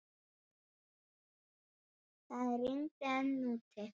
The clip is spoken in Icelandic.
Það rigndi enn úti.